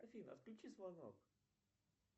афина отключи звонок